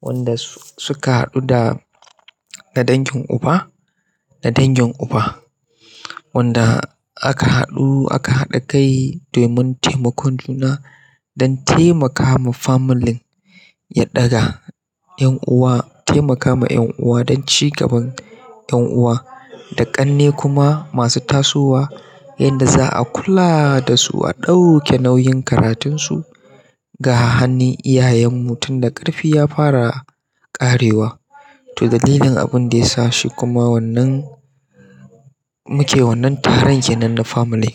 wanda su suka haɗu da dangin uba, da dangin uba wanda aka haɗu, aka haɗa kai domin taimakon juna don taimaka ma familin ya ɗaga ƴan uwa, taimaka ma ƴan uwa don ci gaban ƴan uwa da ƙanne kuma masu tasowa yanda za a kula da su, a ɗauke nauyin karatunsu ga hannun iyayenmu tun da ƙarfi ya fara ƙarewa. To dalilin abin da yasa shi kuma wannan muke wannan taron kenan na family.